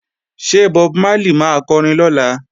Ṣé Bob Marley máa kọrin lọ́la?